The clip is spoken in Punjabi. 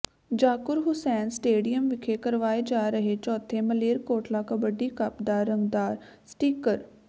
ਜ਼ਾਕੁਰ ਹੁਸੈਨ ਸਟੇਡੀਅਮ ਵਿਖੇ ਕਰਵਾਏ ਜਾ ਰਹੇ ਚੌਥੇ ਮਲੇਰਕੋਟਲਾ ਕਬੱਡੀ ਕੱਪ ਦਾ ਰੰਗਦਾਰ ਸਟਿੱਕਰ